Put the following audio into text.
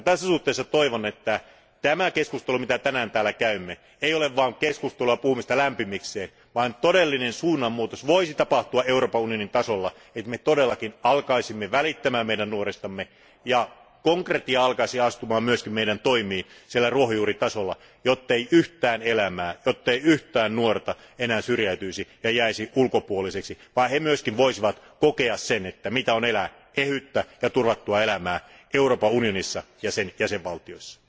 Tässä suhteessa toivon, että tämä keskustelu, jota tänään täällä käymme, ei ole vain keskustelua ja puhumista lämpimikseen, vaan että todellinen suunnan muutos voisi tapahtua Euroopan unionin tasolla, että me todellakin alkaisimme välittää nuoristamme ja konkretia alkaisi astua myös meidän toimiimme siellä ruohonjuuritasolla, jottei yhtään elämää, jottei yhtään nuorta enää syrjäytyisi ja jäisi ulkopuoliseksi, vaan he myös voisivat kokea sen, mitä on elää ehyttä ja turvattua elämää Euroopan unionissa ja sen jäsenvaltioissa.